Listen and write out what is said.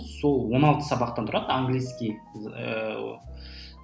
сол он алты сабақтан тұрады английский ыыы